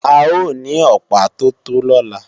A ó ní Ọ̀pá tó tó lọ́la